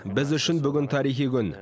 біз үшін бүгін тарихи күн